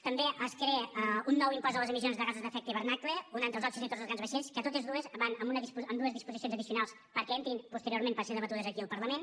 també es crea un nou impost a les emissions de gasos d’efecte hivernacle un altre als òxids nitrosos dels grans vaixells que totes dues van en dues disposicions addicionals perquè entrin posteriorment per ser debatudes aquí al parlament